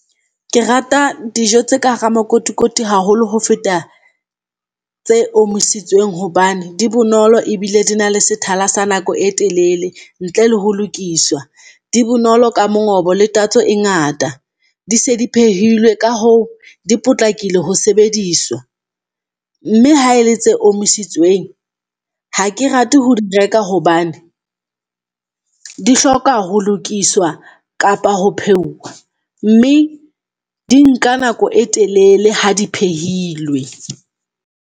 Ke rata dijo tse ka hara makotikoti haholo ho feta tse omisitsweng, hobane di bonolo ebile di na le sethala sa nako e telele ntle le ho lokiswa. Di bonolo ka mongobo le tatso e ngata, di se di phehilwe ka hoo di potlakile ho sebediswa, mme ha ele tse omiisitsweng, ha ke rate ho di reka hobane, di hloka ho lokiswa kapa ho pheuwa mme di nka nako e telele ha di phehilwe.